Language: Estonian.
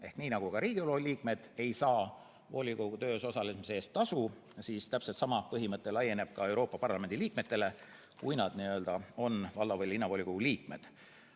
Ehk nii nagu ka Riigikogu liikmed ei saa volikogu töös osalemise eest tasu, siis täpselt sama põhimõte laieneb ka Euroopa Parlamendi liikmetele, kui nad on valla- või linnavolikogu liikmed.